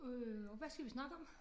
Øh og hvad skal vi snakke om?